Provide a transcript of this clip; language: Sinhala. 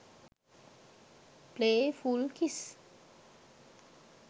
play full kiss